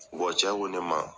cɛ ko ne ma